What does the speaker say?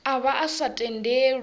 a vha a sa tendelwi